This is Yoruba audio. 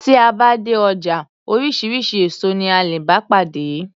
Tí a bá dé ọjà oríṣiríṣi èso ní a lè bá pàdé.